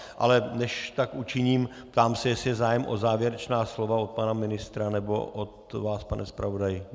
le než tak učiním, ptám se, jestli je zájem o závěrečná slova od pana ministra nebo od vás, pane zpravodaji.